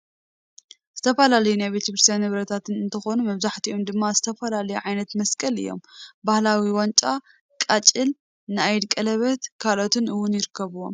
ዝተፈላለዩ ናይ ቤተ ክርስትያን ንብረታት እንትኮኑ መብዛሕተኦም ድማ ዝተፈላለዩ ዓይነታት መስቀል እዮም፡፡ ባህላዊ ዋንጫ፣ ቃጭል ፣ ናይ ኢድ ቀለበትን ካልኦትን እውን ይርከቡዎም፡፡